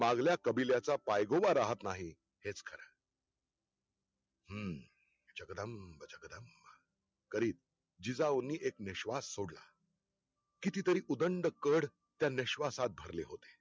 मागल्या कबिल्याचा पायगोवा राहत नाही, हेच खरं हम्म जगदंब जगदंब करीत, जिजाऊंनी एक निश्वास सोडला, किती तरी उदंडकड त्या निश्वासात भरले होते